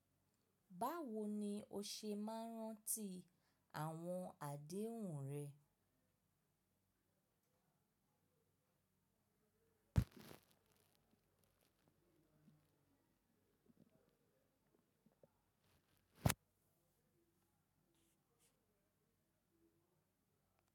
Báwo ni o ṣe máa ń rántí àwọn àdéhùn rẹ?